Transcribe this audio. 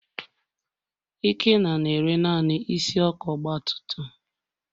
Ikenna na-ere naanị isi ọkụ ọgbatumtum.